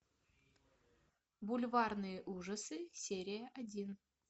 бульварные ужасы серия один